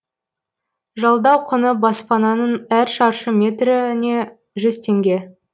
жалдау құны баспананың әр шаршы метріне жүз теңге